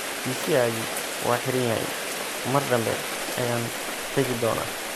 Kisiagi waa xiran yahay, mar dambe ayaan tagi doonaa.